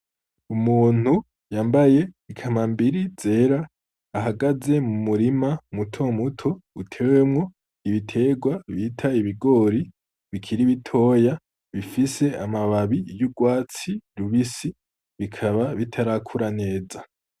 Umuntu yambaye ikambambiri zera ,ahagaze mumurima muto muto, utewemwo ibiterwa bita ibigori ,bikiri bitoya bifise amababi y'urwatsi rubisi ,bikaba bitarakura neza.